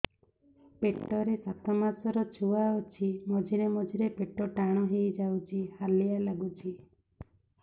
ପେଟ ରେ ସାତମାସର ଛୁଆ ଅଛି ମଝିରେ ମଝିରେ ପେଟ ଟାଣ ହେଇଯାଉଚି ହାଲିଆ ଲାଗୁଚି